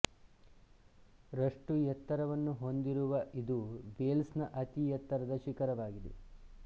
ರಷ್ಟು ಎತ್ತರವನ್ನು ಹೊಂದಿರುವ ಇದು ವೇಲ್ಸ್ ನ ಅತಿ ಎತ್ತರದ ಶಿಖರವಾಗಿದೆ